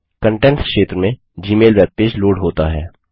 contents क्षेत्र में Gmail webpage load होता है